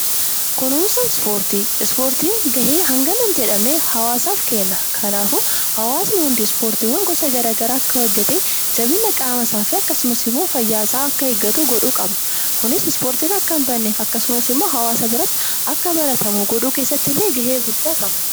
Kunuunsa ispoortii. Ispoortiin ga'ee hangana hin jedhamne hawwaasaaf kenna. Kanaafuu hawwaasni hundi ispoortiiwwan gosa garaa garaa akka hojjetee jabina qaama isaa fi akkasumas immoo fayyaa isaa akka eeggatu godhuu qabna. Kunis ispoortiin akka hin badne akkasumas immoo hawwaasa biratti akka baratamu godhuu keessatti illee ga'ee guddaa qaba.